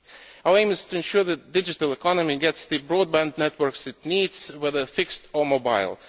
Our aim is to ensure that the digital economy gets the broadband networks it needs, whether fixed or mobile.